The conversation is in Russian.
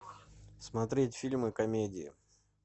смотреть фильмы комедии